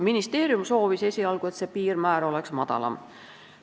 Ministeerium soovis esialgu, et see piirmäär oleks madalam.